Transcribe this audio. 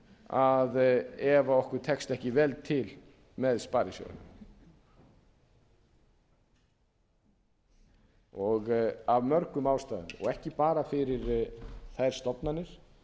að ef okkur tekst ekki vel til með sparisjóðina af mörgum ástæðum og ekki bara fyrir þær stofnanir